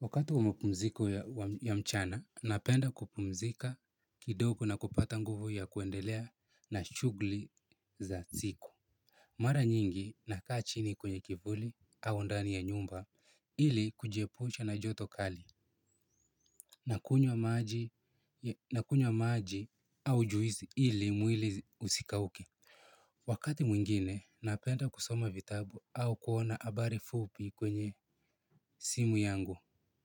Wakati wa mapumziko ya mchana, napenda kupumzika kidogo na kupata nguvu ya kuendelea na shughuli za siku. Mara nyingi nakaa chini kwenye kivuli au ndani ya nyumba ili kujiepusha na joto kali. Nakunywa maji au juisi ili mwili usikauke. Wakati mwingine, napenda kusoma vitabu au kuona habari fupi kwenye simu yangu.